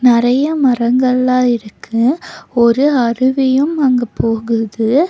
நெறைய மரங்கள்ல இருக்கு ஒரு அருவியும் அங்க போகுது.